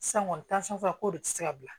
San kɔni ko de tɛ se ka bila